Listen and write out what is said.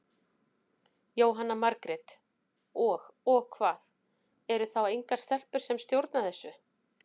Jóhanna Margrét: Og, og hvað, eru þá engar stelpur sem stjórna þessu?